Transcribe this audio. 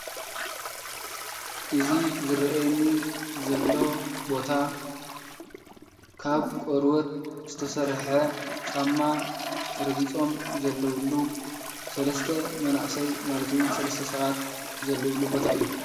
እዚ ዝረእየኒ ዘሎ ቦታ ካብ ቆርቦት ዝተሰረሐ ጫማ ረጊፆም ዘለውሉ ሰለስተ መናእሰይ ማለት እውን ሰለስተ ሰባት ዘለውሉ ቦታ እዩ፡፡